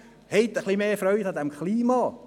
Haben Sie etwas mehr Freude am Klima!